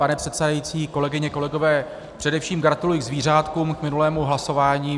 Pane předsedající, kolegyně, kolegové, především gratuluji k zvířátkům, k minulému hlasování.